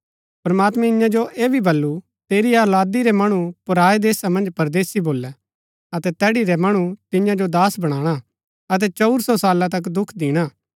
प्रमात्मैं ईयां जो ऐह भी बल्लू तेरी औलादी रै मणु पराऐ देशा मन्ज परदेसी भोलै अतै तैड़ी रै मणु तियां सो दास बनाणा अतै चंऊर सौ साला तक दुख दिणा